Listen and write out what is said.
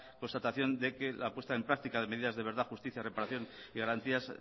constatación de que la puesta en práctica de medidas de verdad justicia reparación y garantías